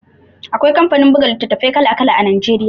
Akwai kamfanin buga litattafai kala-kala Najeriya.